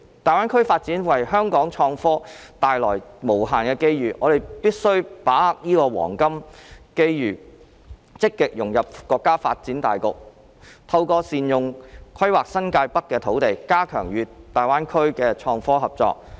大灣區發展為香港創科帶來無限的機遇，我們必須把握好這個黃金機遇，積極融入國家發展大局，透過善用規劃新界北的土地，加強與大灣區的創科合作。